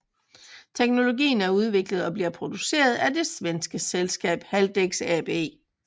Teknologien er udviklet og bliver produceret af det svenske selskab Haldex AB